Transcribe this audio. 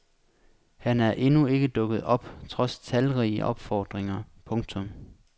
Han er endnu ikke dukket op trods talrige opfordringer. punktum